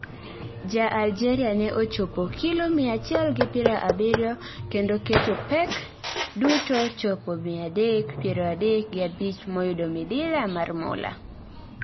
Ja Algeria ne ochopo kilo mia achiel gi pira abirio, kendo keto pek duto chopo mia adek piero adek gi abich moyudo midila mar mula